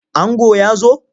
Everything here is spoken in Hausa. Ango ya zo?